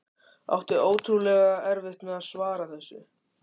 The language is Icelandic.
Átti ótrúlega erfitt með að svara þessu.